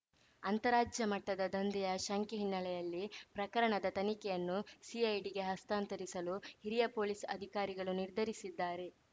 ಅಂತಾರಾಜ್ಯಮಟ್ಟದ ದಂಧೆಯ ಶಂಕೆ ಹಿನ್ನೆಲೆಯಲ್ಲಿ ಪ್ರಕರಣದ ತನಿಖೆಯನ್ನು ಸಿಐಡಿಗೆ ಹಸ್ತಾಂತರಿಸಲು ಹಿರಿಯ ಪೊಲೀಸ್‌ ಅಧಿಕಾರಿಗಳು ನಿರ್ಧರಿಸಿದ್ದಾರೆ